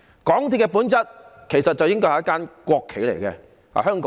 港鐵的本質其實是一間"國企"。